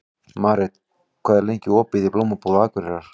Marit, hvað er lengi opið í Blómabúð Akureyrar?